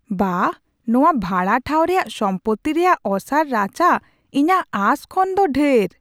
ᱵᱟᱦ, ᱱᱚᱶᱟ ᱵᱷᱟᱲᱟ ᱴᱷᱟᱶ ᱨᱮᱭᱟᱜ ᱥᱚᱢᱯᱚᱛᱛᱤ ᱨᱮᱭᱟᱜ ᱚᱥᱟᱨ ᱨᱟᱪᱟ ᱤᱧᱟᱹᱜ ᱟᱸᱥ ᱠᱷᱚᱱ ᱫᱚ ᱰᱷᱮᱨ !